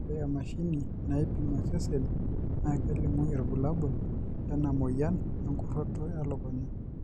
ore emashini naipim osesen naa kelimu irbulabol lena moyian enkuroto e lukunya.